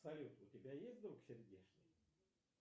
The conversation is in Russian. салют у тебя есть друг сердешный